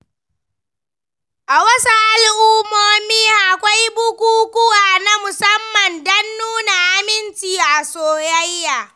A wasu al’ummomi, akwai bukukuwa na musamman don nuna aminci a soyayya.